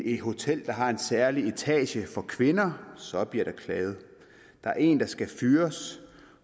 et hotel der har en særlig etage for kvinder så bliver der klaget der er en der skal fyres